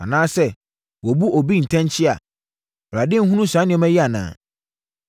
anaa sɛ wɔbu obi ntɛnkyea a, Awurade nhunu saa nneɛma yi anaa?